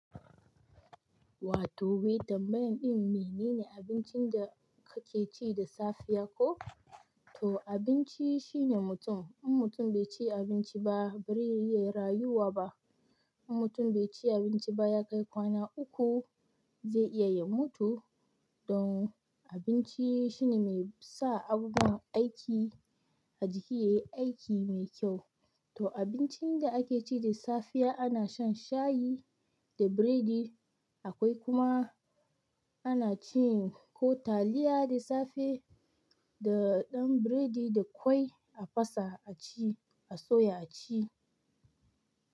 Wato, me tambayar ɗin me nene abincin da kake ci da safiya ko? To abinci shine mutum. In mutum bai ci abinci ba bare iya rayuwa ba. In mutum bai ci abinci ba ya kai kwana uku zai iya ya mutu. Don abinci shine mai sa abubuwan aiki a jiki yayi aiki mai kyau. To abincin da ake ci da safiya ana shan shayi da biredi akwai kuma ana cin ko taliya da safe da ɗan biredi da ƙwai a fasa a ci, a soya a ci.